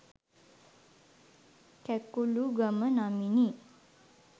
Kakulugama නමිනි